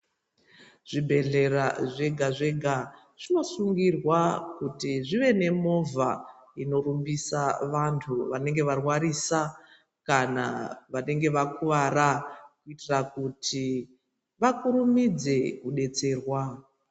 Zvibhehleya zvega zvega zvinosungirwa kuti zvive nemovha inorumbisa vantu vanenge varwarisa kana vanenge vakuwara kuitira kuti kurumidze kudetserwa.